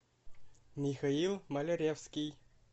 михаил маляревский